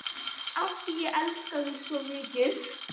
Af því ég elska þig svo mikið.